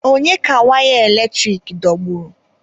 Onye ka waya eletrik dọgburu?